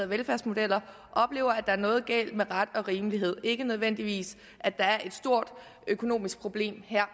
velfærdsmodeller oplever at der er noget galt med ret og rimelighed ikke nødvendigvis er et stort økonomisk problem her